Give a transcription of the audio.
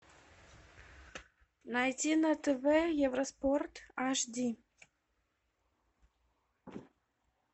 найти на тв евроспорт аш ди